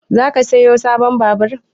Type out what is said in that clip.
Zaka siyo sabon babur?